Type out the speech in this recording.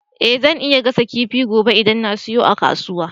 Eh zan iya gasa kifi gobe idan na siyo a kasuwa